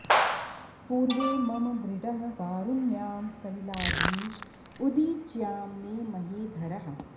पूर्वे मम मृडः वारुण्यां सलिलाधीश उदीच्यां मे महीधरः